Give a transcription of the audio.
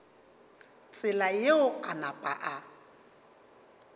tsela yeo a napa a